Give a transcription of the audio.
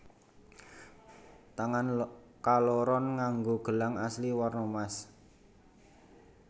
Tangan kaloron nganggo gelang asli werna mas